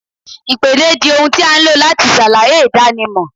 Ìpèdè di ohun tí a ń lo láti ṣàlàyé ìdánimọ̀